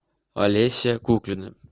олеся куклина